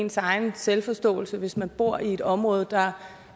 ens selvforståelse hvis man bor i et område der